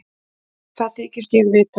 Það þykist ég vita.